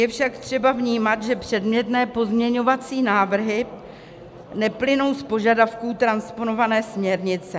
Je však třeba vnímat, že předmětné pozměňovací návrhy neplynou z požadavků transponované směrnice.